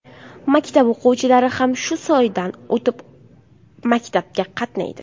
Maktab o‘quvchilari ham shu soydan o‘tib maktabga qatnaydi.